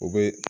O bɛ